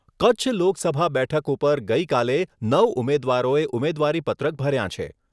કચ્છ લોકસભા બેઠક ઉપર ગઈકાલે નવ ઉમેદવારોએ ઉમેદવારીપત્રક ભર્યાં છે.